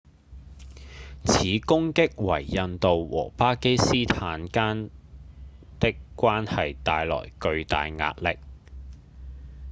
此攻擊為印度和巴基斯坦間的關係帶來巨大壓力